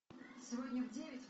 сегодня в девять